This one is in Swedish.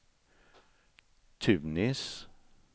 Tunis